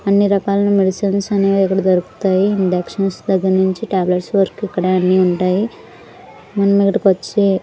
అన్ని రకాల మెడిసిన్స్ అనేవి అక్కడ దొరుకుతాయి ఇందక్షన్స్ దగ్గర నుంచి టాబ్లెట్స్ వరకు ఇక్కడ అన్ని ఉంటాయి వచ్చి--